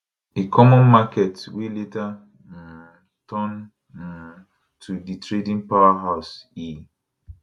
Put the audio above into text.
a common market wey later um turn um to di trading powerhouse e